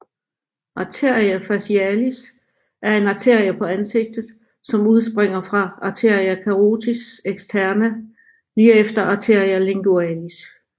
Arteria facialis er en arterie på ansigtet som udspringer fra arteria carotis externa lige efter arteria lingualis